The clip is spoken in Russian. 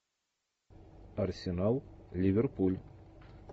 арсенал ливерпуль